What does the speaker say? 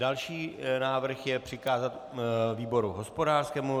Další návrh je přikázat výboru hospodářskému.